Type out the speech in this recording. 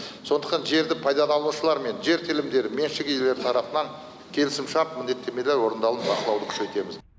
сондықтан жерді пайдаланушылар мен жер телімдері меншік иелері тарапынан келісімшарт міндеттемелер орындалуын бақылауды күшейтеміз